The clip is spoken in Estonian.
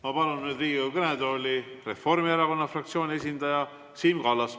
Ma palun Riigikogu kõnetooli Reformierakonna fraktsiooni esindaja Siim Kallase.